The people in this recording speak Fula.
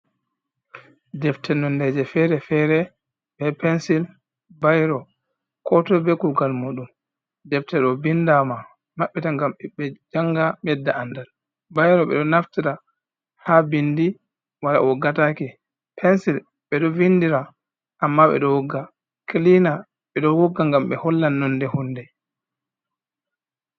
Defte nondeji fere-fere be pensil, bairo ko toi be kugal muɗum. Defte ɗo bindaama maɓɓita ngam ɓe janga medda andal, bairo ɓeɗo naftira ha bindi wai woggatake, pensil ɓeɗo vindira amma ɓeɗo wogga, kilina ɓeɗo wogga ngam ɓe holla nonde hunde.